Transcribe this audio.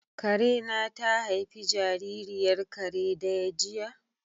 Karena ta haifi jaririyar kare daya jiya?